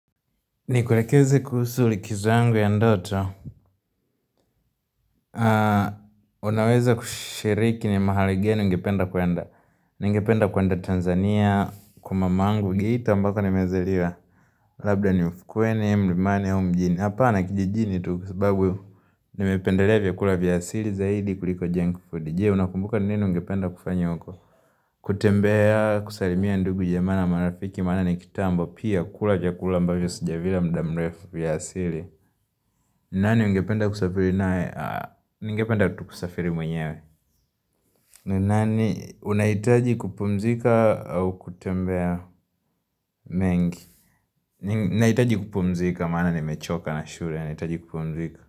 Nikulekeze kuhusu likizo yangu ya ndoto Unaweza kushiriki ni mahali geni ungependa kuenda Ningependa kuanda Tanzania Kwa mamangu, Geith ambako nimezaliwa Labda ni ufukwene, mlimane, ao mjini Hapa ni kijijini tu kwa sababu Nimependelea vyakula vya asili zaidi kuliko Jenkford, Je, unakumbuka ni nini ungependa kufanya huko kutembea, kusalimia ndugu jamaa na marafiki Maana ni kitambo, pia kula vyakula mbavyo sijavila mda mrefu vya asili nani ungependa kusafiri mwenyewe nani unahitaji kupumzika au kutembea mengi Nahitaji kupumzika maana nimechoka na shule Nahitaji kupumzika.